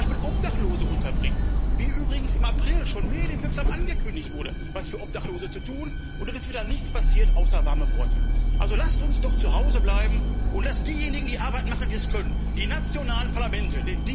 Zum Beispiel Obdachlose unterbringen, wie übrigens im April schon medienwirksam angekündigt wurde, etwas für Obdachlose zu tun, und dann ist wieder nichts passiert außer warmen Worten. Also lasst uns doch zu Hause bleiben und diejenigen die Arbeit machen, die es können die nationalen Parlamente!